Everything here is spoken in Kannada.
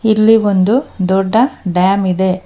ಇಲ್ಲಿ ಒಂದು ದೊಡ್ಡ ಡ್ಯಾಮ್ ಇದೆ.